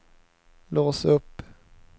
lås upp